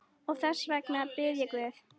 Og þess vegna bið ég guð.